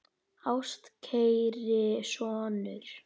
Ástkæri sonur